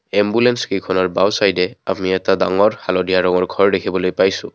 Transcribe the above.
Ambulance কেইখনৰ বাওঁ চাইদে আমি এটা ডাঙৰ হালধীয়া ৰঙৰ ঘৰ দেখিবলৈ পাইছোঁ।